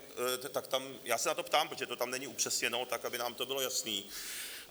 Já se na to ptám, protože to tam není upřesněno, tak aby nám to bylo jasné.